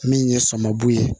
Min ye samabu ye